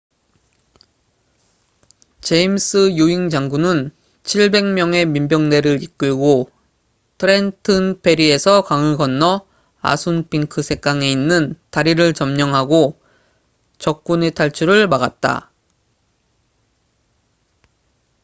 제임스 유잉 장군은 700명의 민병대를 이끌고 트렌튼 페리에서 강을 건너 아순핑크 샛강에 있는 다리를 점령하고 적군의 탈출을 막았다